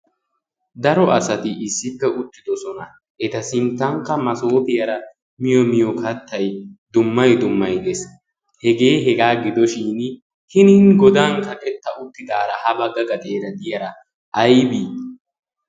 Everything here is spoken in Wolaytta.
daro asatti issipe uttidoosna. eta sinttanka masoopiyaara miyoo kaattay dummay dummay de'ees. hegee hegaa gidi uttaashshin hiini goddan kaqqeeta uttidaara ha bagga gaxxeera de'iyaara aybii?